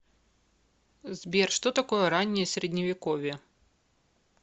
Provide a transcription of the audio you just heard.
сбер что такое раннее средневековье